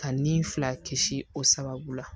Ka ni fila kisi o sababu la